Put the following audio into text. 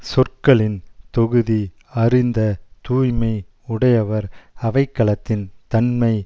சொற்களின் தொகுதி அறிந்த தூய்மை உடையவர் அவைக்களத்தின் தன்மை